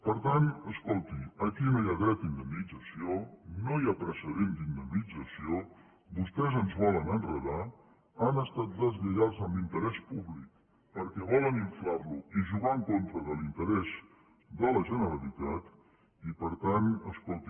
per tant escolti aquí no hi ha dret a indemnització no hi ha precedent d’indemnització vostès ens volen enredar han estat deslleials amb l’interès públic perquè volen inflar lo i jugar en contra de l’interès de la generalitat i per tant escolti